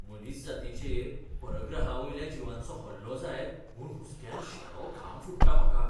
मनीसजातीचेर परग्रहावयल्या जिवांचो हल्लो जायत म्हूण हुसक्यान शेळो घाम फुट्टा म्हाका.